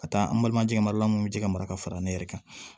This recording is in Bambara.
Ka taa an balima jɛgɛ mara la an kun bɛ ji ka mara ka fara ne yɛrɛ kan